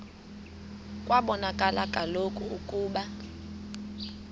kwabonakala kaloku ukuba